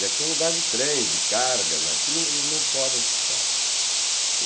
E aqui é um lugar de trens, de cargas, aqui não eles não podem ficar.